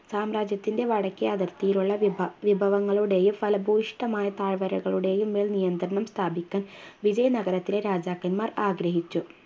സാമ്രാജ്യത്തിൻ്റെ വടക്കെ അതിർത്തിയിലുള്ള വിഭ വിഭവങ്ങളുടെയും ഫലഭൂയിഷ്ടമായ താഴ്വരകളുടെയും മേൽ നിയന്ത്രണം സ്ഥാപിക്കാൻ വിജയ നഗരത്തിലെ രാജാക്കൻമാർ ആഗ്രഹിച്ചു